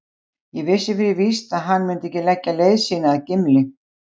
Ég vissi fyrir víst að hann mundi ekki leggja leið sína að Gimli.